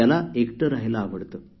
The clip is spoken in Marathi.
त्याला एकटे रहायला आवडते